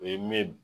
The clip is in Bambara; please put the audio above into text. O ye min ye